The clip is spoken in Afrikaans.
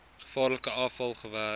gevaarlike afval gewerk